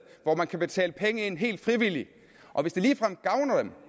hvor man kan betale penge ind helt frivilligt og hvis det ligefrem gavner dem